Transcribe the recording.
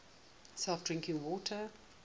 safe drinking water